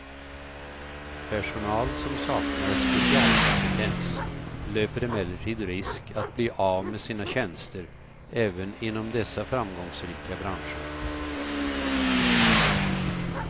Personal, som saknar specialkompetens, löper emellertid risk att bli av med sina tjänster även inom dessa framgångsrika branscher.